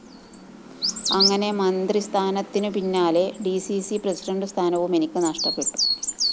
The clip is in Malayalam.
അങ്ങനെ മന്ത്രിസ്ഥാനത്തിനു പിന്നാലെ ഡി സി സി പ്രസിഡന്റു സ്ഥാനവും എനിക്ക് നഷ്ടപ്പെട്ടു